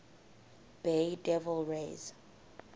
bay devil rays